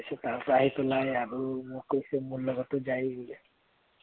তাৰপাচত তাৰ পৰা আহি পেলাই আৰু মোক কৈছে মোৰ লগতো যায় বুলে